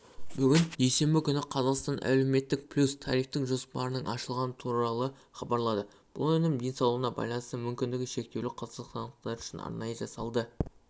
бүгін дүйсенбі күні қазақстан әлеуметтік плюс тарифтік жоспарының ашылғаны туралы хабарлады бұл өнім денсаулығына байланысты мүмкіндігі шектеулі қазақстандықтар үшін арнайы жасалды